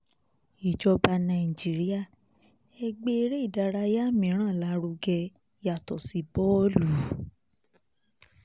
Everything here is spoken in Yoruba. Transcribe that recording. ìjọba nàìjíríà ẹ̀ gbé eré ìdárayá miran lárugẹ yàtọ̀ sí bọ́ọ̀lù